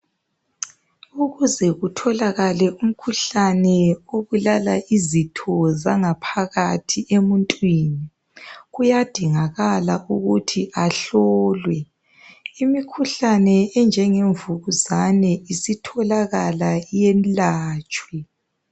Ukuze kutholakale umkhuhlane obulala izitho zangaphakathi emuntwini. Kuyadingakala ukuthi ahlolwe. Imkhuhlane enjenge mvukuzane isitholakala yelatshwe